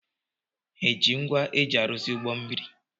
Ha eji ngwa eji arụzi ụgbọ mmiri?